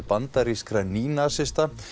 bandarískra nýnasista